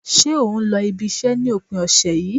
Ṣé o n lọ ibi iṣẹ́ ni opin ọ̀sẹ̀ yìí